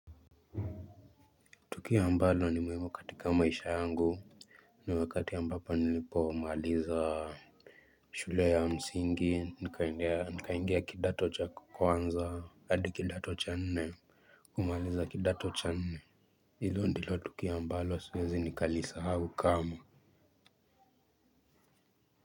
Tukio ambalo ni muhimu katika maisha yangu ni wakati ambapo nilipomaliza shule ya msingi nikaingia kidato cha kwanza hadi kidato cha nne kumaliza kidato cha nne hilo ndilo tukio ambalo siwezi nikalisahau kamwe.